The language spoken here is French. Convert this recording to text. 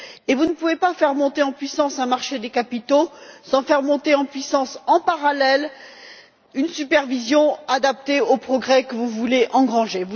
Vous ne pouvez pas faire monter en puissance un marché des capitaux sans faire monter en puissance, en parallèle, une supervision adaptée aux progrès que vous voulez engranger.